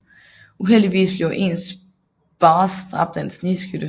Uheldigvis bliver ens boss dræbt af en snigskytte